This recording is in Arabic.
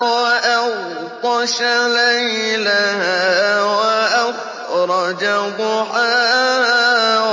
وَأَغْطَشَ لَيْلَهَا وَأَخْرَجَ ضُحَاهَا